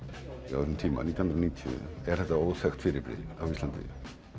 um tíma nítján hundruð og níutíu er þetta óþekkt fyrirbrigði á Íslandi